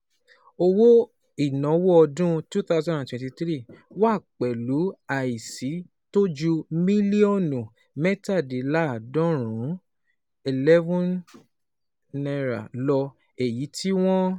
Owó ìnáwó ọdún twenty twenty three wá pẹ̀lú àìsí tó ju mílíọ̀nù mẹ́tàdínláàádọ́rùn-ún N eleven lọ, èyí tí wọ́n